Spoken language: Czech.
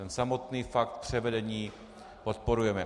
Ten samotný fakt převedení podporujeme.